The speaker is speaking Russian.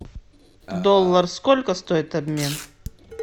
доллар сколько стоит обмен